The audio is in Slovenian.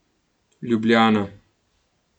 Ljubljana.